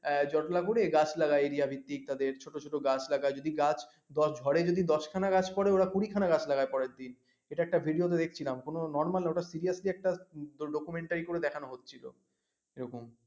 জটলা করে গাছ লাগা area ভিত্তিক তাদের ছোট ছোট গাছ লাগা যদি ঝড়ে যদি দশখানা গাছ পড়ে ওরা কুড়ি খানা গাছ লাগায় পরেরদিন এটা একটা video তে দেখেছিলাম কোনো normal না ওটা seriously একটা documentary করে দেখানো হচ্ছিল এরকম